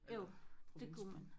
Eller provinsby